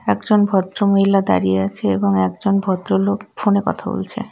একজন ভদ্রমহিলা দাঁড়িয়ে আছে এবং একজন ভদ্রলোক ফোনে কথা বলছে.